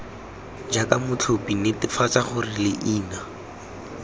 jaaka motlhophi netefatsa gore leina